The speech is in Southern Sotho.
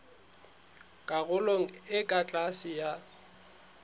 karolong e ka tlase ya